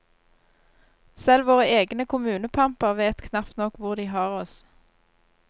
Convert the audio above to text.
Selv våre egne kommunepamper vet knapt nok hvor de har oss.